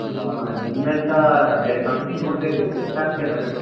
ಅ ಇನ್ನoತ ಬೇರೆ company ನೋಡಬೇಕು ಈಗ set ಆಗ್ತಾಯಿಲ್ಲ ನಂಗೆ.